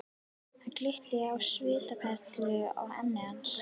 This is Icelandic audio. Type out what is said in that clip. Það glittir á svitaperlur á enni hans.